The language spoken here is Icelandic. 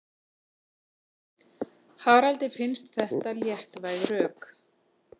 Haraldi finnst þetta léttvæg rök.